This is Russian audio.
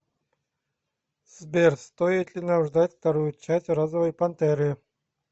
сбер стоит ли нам ждать вторую часть розовои пантеры